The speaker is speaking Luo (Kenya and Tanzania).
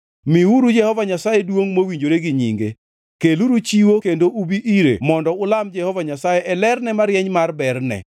Miuru Jehova Nyasaye duongʼ mowinjore gi nyinge. Keluru chiwo kendo ubi ire mondo. Ulam Jehova Nyasaye e lerne marieny mar berne.